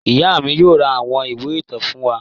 Ìyá mi yóò ra àwọn ìwé ìtàn fún wa.